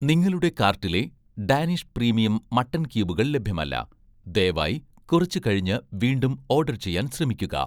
നിങ്ങളുടെ കാർട്ടിലെ 'Danish' premium mutton ക്യൂബുകൾ ലഭ്യമല്ല, ദയവായി കുറച്ചു കഴിഞ്ഞ് വീണ്ടും ഓഡർ ചെയ്യാൻ ശ്രമിക്കുക